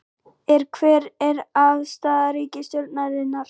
Er, hver er afstaða ríkisstjórnarinnar?